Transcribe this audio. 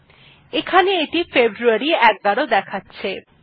এইটি এখানে ফেব্রুয়ারী ১১ দেখাচ্ছে